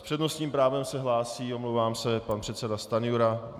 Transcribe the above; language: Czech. S přednostním právem se hlásí, omlouvám se, pan předseda Stanjura.